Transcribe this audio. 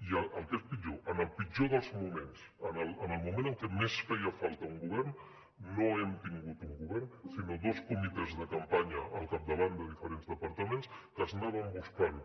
i el que és pitjor en el pitjor dels moments en el moment en què més feia falta un govern no hem tingut un govern sinó dos comitès de campanya al capdavant de diferents departaments que anaven buscant